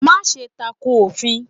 Máse tako òfin